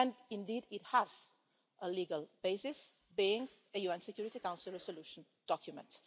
Indeed it has a legal basis, being a UN Security Council resolution document.